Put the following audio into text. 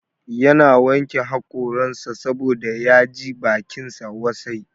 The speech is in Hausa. Ya na wanke hakoransa saboda ya ji bakinsa wasai